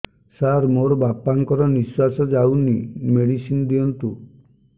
ସାର ମୋର ବାପା ଙ୍କର ନିଃଶ୍ବାସ ଯାଉନି ମେଡିସିନ ଦିଅନ୍ତୁ